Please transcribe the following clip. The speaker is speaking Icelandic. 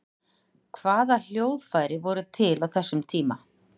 hvaða hljóðfæri voru til á þessum tíma